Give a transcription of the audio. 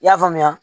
I y'a faamuya